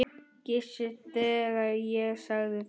Gissur, þegar ég sagði þetta.